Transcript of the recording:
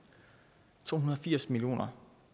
to hundrede og firs million